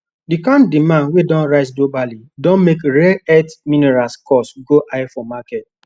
the kain demand wey don rise globally don make rare earth minerals cost go high for market